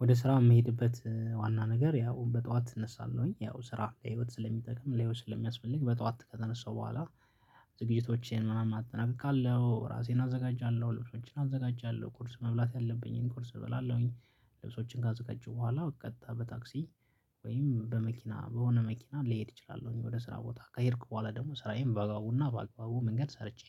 ወደ ስራ የምሄድበት ዋና ነገር ያው በጠዋት እነሳለሁኝ ያው ስራ ለህይወት ስለሚጠቅም ለህይወት ስለሚያስፈልግ በጧት ከተነሳው በኋላ ዝግጅቶቼን ምናምን አጠናቅቃለሁ ራሴን አዘጋጃለሁ ልብሶችን አዘጋጃለሁ ቁርስ መብላት ያለብኝን ቁርስ እበላለሁኝ ልብሶችን ካዘጋጀሁ በኋላ ቀጥታ በታክሲ ወይም በመኪና በሆነ መኪና ልሄድ እችላለሁ እኔ ወደ ስራ ቦታ ከሄድኩ በኋላ ደግሞ ስራዬን በግባቡና በአግባቡ መንገድ ሰርቼ